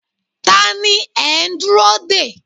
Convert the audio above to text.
Ta ni ẹ ń dúró dè?